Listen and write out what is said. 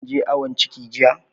Kin je awon ciki jiya?